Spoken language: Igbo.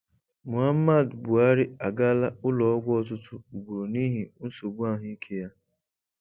Muhamad Buhari agaala ụlọọgwụ ọtụtụ ugboro n'ihi nsogbu ahụike ya.